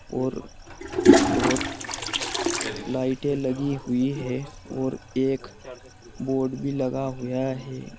और बहोत लाइटें लगी हुई हैं और एक बोर्ड भी लगा हुया है।